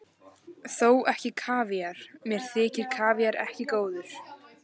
Þó ekki kavíar, mér þykir kavíar ekki góður.